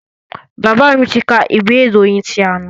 Bàbá mi tí kà ìwé ìròyìn ti àná.